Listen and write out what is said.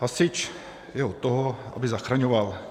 Hasič je od toho, aby zachraňoval.